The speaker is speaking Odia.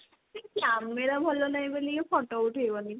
camera ଭଲ ନାହିଁ ବୋଲି କି photo ଉଠେଇବନି